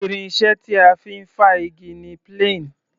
Irin iṣẹ́ tí a fi ń fá igi ni plane.